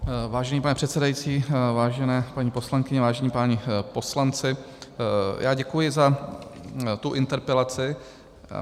Vážený pane předsedající, vážené paní poslankyně, vážení páni poslanci, já děkuji za tu interpelaci.